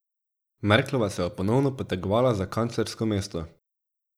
Merklova se bo ponovno potegovala za kanclersko mesto.